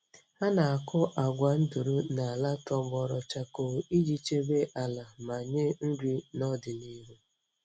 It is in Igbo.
Ha na-akụ agwa nduru n’ala tọgbọrọ chakoo iji chebe ala ma nye nri n’ọdịnihu.